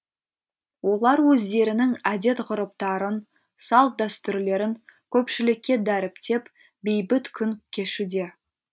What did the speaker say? олар өздерінің әдет ғұрыптарын салт дәстүрлерін көпшілікке дәріптеп бейбіт күн кешуде